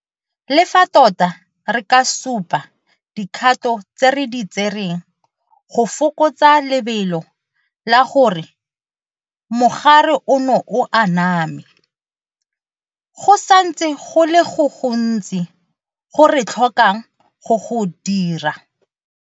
Le fa tota re ka supa dikgato tse re di tsereng go fokotsa lebelo la gore mogare ono o aname, go santse go le go gontsi go re tlhokang go go dira.